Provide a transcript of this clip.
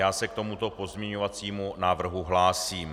Já se k tomuto pozměňovacímu návrhu hlásím.